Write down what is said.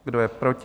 Kdo je proti?